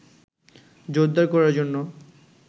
জোরদার করার জন্য